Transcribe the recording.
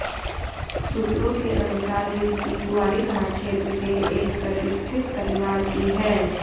सूत्रों के अनुसार युवती ग्वारीघाट क्षेत्र के एक प्रतिष्ठित परिवार की है